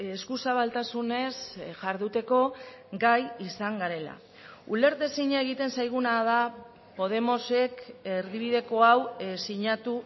esku zabaltasunez jarduteko gai izan garela ulertezina egiten zaiguna da podemosek erdibideko hau sinatu